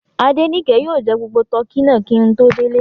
Adenike yóò jẹ gbogbo tọkí náà kí n tó délé